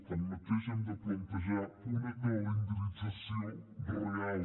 tanmateix hem de plantejar una calendarització real